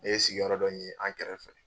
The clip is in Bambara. Ne ye sigiyɔrɔ dɔ ɲini an kɛrɛfɛ.